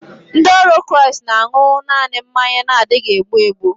Ndị ọrụ Kraịst na-aṅu naanị mmanya na-adịghị egbu egbu